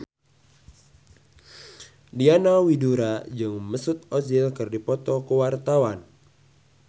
Diana Widoera jeung Mesut Ozil keur dipoto ku wartawan